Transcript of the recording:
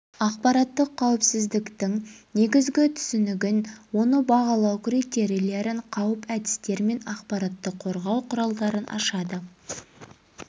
ақпараттық қауіпсіздіктің негізгі түсінігін оны бағалау критерийлерін қауіп әдістер мен ақпаратты қорғау құралдарын ашады